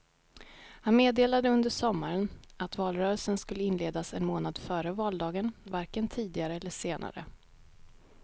Han meddelade under sommaren att valrörelsen skulle inledas en månad före valdagen, varken tidigare eller senare.